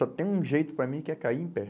Só tem um jeito para mim, que é cair em pé.